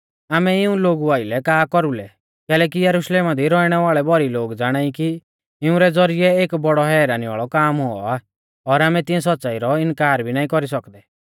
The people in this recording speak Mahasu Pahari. आमै इऊं लोगु आइलै का कौरुलै कैलैकि यरुशलेमा दी रौइणै वाल़ै भौरी लोग ज़ाणाई कि इउंरै ज़ौरिऐ एक बौड़ौ हैरानी वाल़ौ काम हुऔ आ और आमै तिऐं सौच़्च़ाई रौ इनकार भी नाईं कौरी सौकदै